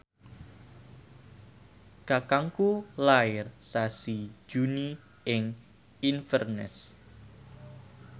kakangku lair sasi Juni ing Inverness